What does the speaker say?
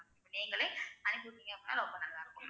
நீங்களே அனுப்பி விட்டீங்க அப்படின்னா, ரொம்ப நல்லா இருக்கும் ma'am